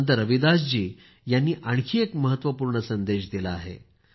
संत रविदास जी यांनी आणखी एक महत्वपूर्ण संदेश दिला आहे